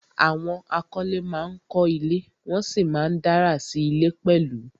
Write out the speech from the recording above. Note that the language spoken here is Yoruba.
Àwọn akọ́lé ma ń kọ́ ilé, wọ́n sì ma ń dárà sí ilé pẹ̀lú